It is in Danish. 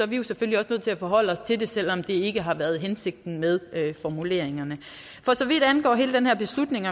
vi selvfølgelig også nødt til at forholde os til det selv om det ikke har været hensigten med formuleringerne for så vidt angår hele den her beslutning